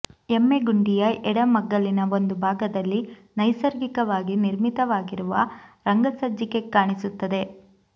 ಎಮ್ಮೆ ಗುಂಡಿಯ ಎಡ ಮಗ್ಗಲಿನ ಒಂದು ಭಾಗದಲ್ಲಿ ನೈಸರ್ಗಿಕವಾಗಿ ನಿರ್ಮಿತವಾಗಿರುವ ರಂಗಸಜ್ಜಿಕೆ ಕಾಣಿಸುತ್ತದೆ